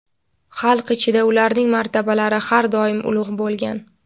Xalq ichida ularning martabalari har doim ulug‘ bo‘lgan.